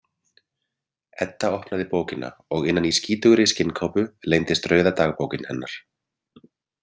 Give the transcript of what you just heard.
Edda opnaði bókina og innan í skítugri skinnkápu leyndist rauða dagbókin hennar.